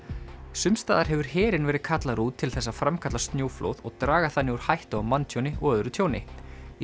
sums staðar hefur herinn verið kallaður út til þess að framkalla snjóflóð og draga þannig úr hættu á manntjóni og öðru tjóni í